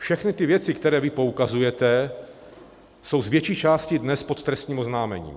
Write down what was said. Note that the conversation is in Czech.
Všechny ty věci, na které poukazujete, jsou z větší části dnes pod trestním oznámením.